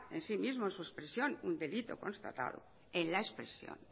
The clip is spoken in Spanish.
en sí mismo en su expresión un delito constatado en la expresión